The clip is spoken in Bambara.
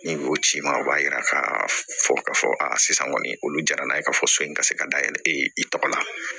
Ni o ci ma o b'a yira ka fɔ ka fɔ a sisan kɔni olu jara n'a ye k'a fɔ so in ka se ka dayɛlɛ i tɔgɔ la